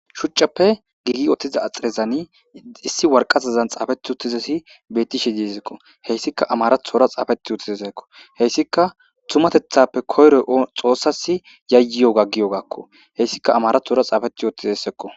shucappe giigi ottiza axirezani issi warqazazan xaafeti uttizesi bettishe dizekko heyssika amarathora xaafeti uttizezekko heyssika tumatethappe koyroy xoossas yayiyo gaggiyo gakko heyssika amarathora xaafeti ottizessekko